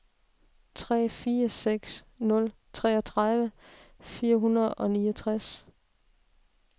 tre fire seks nul treogtredive fire hundrede og niogtres